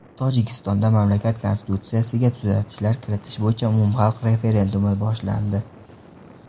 Tojikistonda mamlakat konstitutsiyasiga tuzatishlar kiritish bo‘yicha umumxalq referendumi boshlandi.